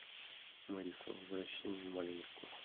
мэддисон возвращение в малиновку